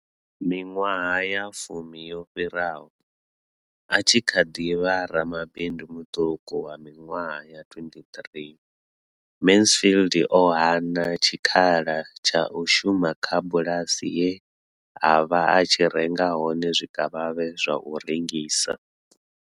Miṅwaha ya fumi yo fhiraho, a tshi kha ḓi vha ramabindu muṱuku wa miṅwaha ya 23, Mansfield o hana tshikhala tsha u shuma kha bulasi ye a vha a tshi renga hone zwikavhavhe zwa u rengisa.